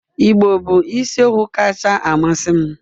Igbo bụ isiokwu kacha amasị m